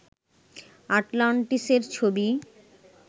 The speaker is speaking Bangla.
আটলান্টিসের ছবি